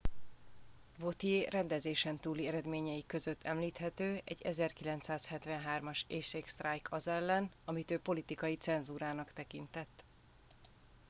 vautier rendezésen túli eredményei között említhető egy 1973 as éhségsztrájk az ellen amit ő politikai cenzúrának tekintett